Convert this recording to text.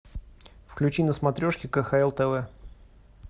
включи на смотрешке кхл тв